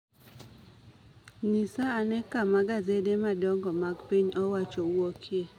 Nyisa ane kama gasede madongo mag piny owacho wuokie.